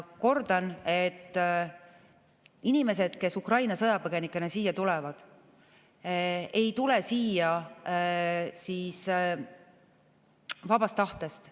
Kordan, inimesed, kes Ukraina sõjapõgenikena siia tulevad, ei tule siia vabast tahtest.